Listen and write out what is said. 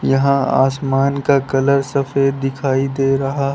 यहां आसमान का कलर सफेद दिखाई दे रहा है।